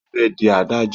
Ó fẹ́ di adájọ́.